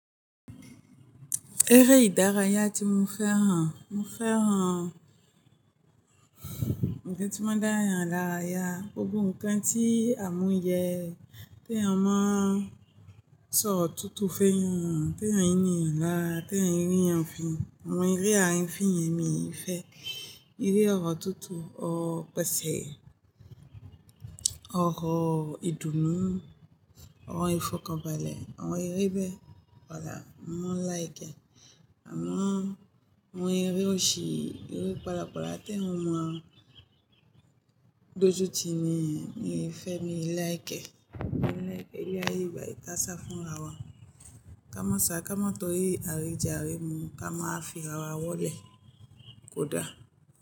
Eré ìdárayá tí mo fẹ́ran, mo fẹ́ean ń kan tí mo dáyen lára ya. Gbogbo nǹkan tí a mú yẹ, tí eeyan máa ń sọro tútù fún èèyàn, tí ẹ̀yin ni ẹ̀lá, tí ẹ̀yin rí ẹ̀yin fi, àwọn eré àárín fín yẹn mi ò fẹ́. Eré ọ̀rọ̀ tútù, ọ̀rọ̀ pẹ̀sẹ̀, ọ̀rọ̀ ìdùnnú, ọ̀rọ̀ ìfọ̀kànbalẹ̀, àwọn eré bẹ́ẹ̀. Wàá lá, mo mon like ẹ. Àmọ́ àwọn eré òṣì, eré pàlàpàlà tí eeyan ọ mọ dọ́ jú ti ni, mi ò fẹ́, mi ò like ẹ. Mi ò like ẹ. Eré àye igbà, ìtàsá fún ara wa. Ká mọ́ sa, ká mọ́ tọrí àríjà á rí mu, ká máa fi ara wa wọlé. Kódà.